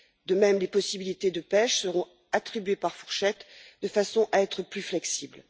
De même, les possibilités de pêche seront attribuées par fourchette de façon à être plus flexibles.